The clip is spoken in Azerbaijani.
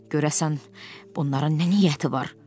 Görəsən, bunların nə niyyəti var?